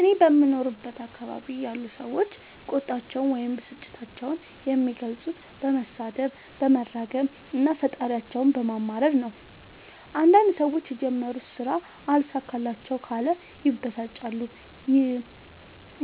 እኔ በምኖርበት አካባቢ ያሉ ሠዎች ቁጣቸዉን ወይም ብስጭታቸዉን የሚገልፁት በመሣደብ በመራገም እና ፈጣሪያቸዉን በማማረር ነዉ። አንዳንድ ሠዎች የጀመሩት ስራ አልሣካላቸዉ ካለ ይበሳጫሉ ይ።